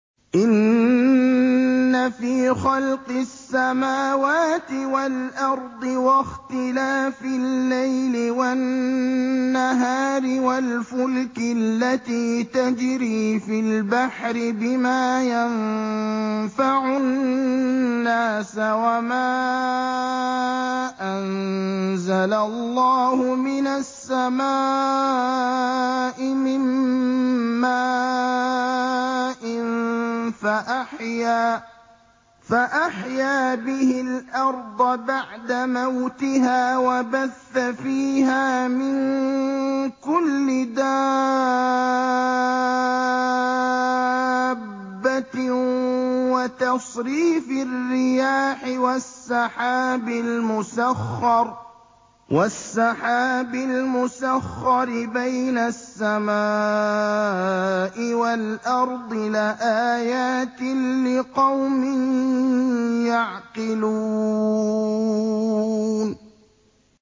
إِنَّ فِي خَلْقِ السَّمَاوَاتِ وَالْأَرْضِ وَاخْتِلَافِ اللَّيْلِ وَالنَّهَارِ وَالْفُلْكِ الَّتِي تَجْرِي فِي الْبَحْرِ بِمَا يَنفَعُ النَّاسَ وَمَا أَنزَلَ اللَّهُ مِنَ السَّمَاءِ مِن مَّاءٍ فَأَحْيَا بِهِ الْأَرْضَ بَعْدَ مَوْتِهَا وَبَثَّ فِيهَا مِن كُلِّ دَابَّةٍ وَتَصْرِيفِ الرِّيَاحِ وَالسَّحَابِ الْمُسَخَّرِ بَيْنَ السَّمَاءِ وَالْأَرْضِ لَآيَاتٍ لِّقَوْمٍ يَعْقِلُونَ